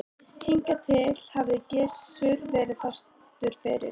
Hingað til hafði Gizur verið fastur fyrir.